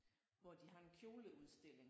Hvor de har en kjoleudstilling